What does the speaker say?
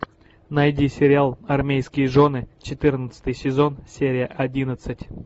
найди сериал армейские жены четырнадцатый сезон серия одиннадцать